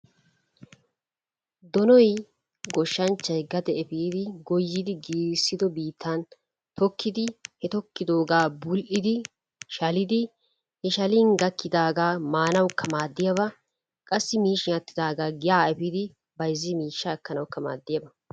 Donoy goshshanchchay gade efiidi goyyidi giigissido biittan tokkidi he tokkidooga bul''idi, shaliddi, he shallin gakidaaga maanawukka maaddiyaaba qassi miishshin aattidaaga giya efiidi byazzin miishshaa ekkanwukka maaddiyaaba.